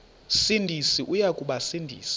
sindisi uya kubasindisa